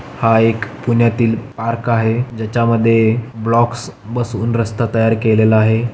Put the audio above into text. हा एक पुण्यातील पार्क आहे ज्याच्या मध्ये ब्लोक्स बसवून रस्ता तयार केलेला आहे.